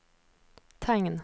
tegn